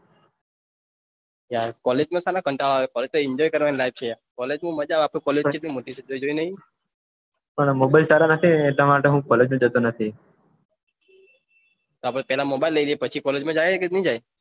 કોલેજમાં કંટાળો આવે છે enjoy કરવાની લાઈફ છે કાલેજ માં મજા છે આપડી કોલેજ કેટલી મોટી છે તે જોયી ની પન mobile સારા નથી એટલા માટે હું કોલેજ માં જતો નથી આપડે પેલા mobile લઈલઈએ પછી કોલેજ માં જઈએ